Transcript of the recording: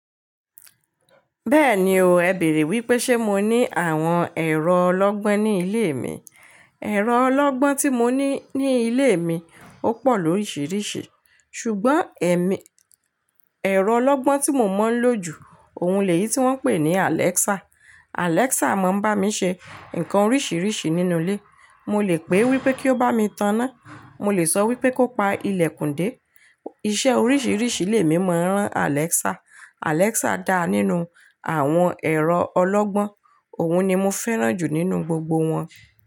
Bẹ́ẹ̀ni o, ẹ̀ bèèrè wípé ṣe mo ní àwọn ẹ̀rọ ọlọ́gbọ́n ní ilé mi. Ẹ̀rọ ọlọ́gbọ́n tí mo ní ní ilé mi ó pọ̀ lóríṣiríṣi. Ṣùgbọ́n ẹ̀mí, ẹ̀rọ ọlọ́gbọ́n tí mo maa ń lò jù, òun lèyí tí wọ́n ń pè ní Alexa. Alexa máa ń bá mi ṣe nǹkan oríṣiríṣi nínú ilé. Mo lè pè wípé kí ó bá mi taná, mo lè sọ wípé kó pa ilẹ̀kùn dé. Iṣẹ́ oríṣiríṣi lè mí maa ran Alexa. Alexa dá nínú àwọn ẹ̀rọ ọlọ́gbọ́n. Òun ni mo fẹ́ràn jù nínú gbogbo wọn.